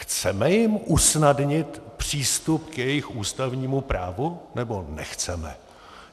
Chceme jim usnadnit přístup k jejich ústavnímu právu, nebo nechceme?